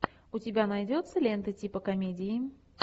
у тебя найдется лента типа комедии